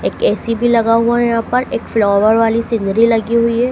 एक ए_सी भी लगा हुआ है यहां पर एक फ्लॉवर वाली सीनरी लगी हुई है।